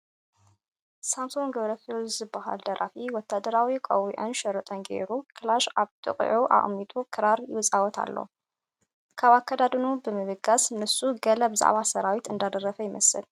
ሳምሶን ገብረኪሮስ ዝበሃል ደራፊ ወታደራዊ ቆቢዕን ሽርጥን ገይሩ፣ ከላሽን ኣብ ጥቕኡ ኣቐሚጡ ክራር ይፃወት ኣሎ፡፡ ካብ ኣከዳድንኡ ብምብጋስ ንሱ ገለ ብዛዕባ ሰራዊት እንዳደረፈ ይመስል፡፡